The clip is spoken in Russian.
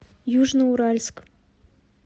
южноуральск